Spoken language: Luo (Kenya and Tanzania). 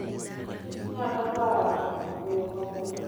Kich ng'ado paro e yo maber.